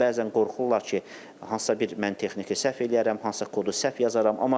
Bəzən qorxurlar ki, hansısa bir mən texniki səhv eləyərəm, hansısa kodu səhv yazaram.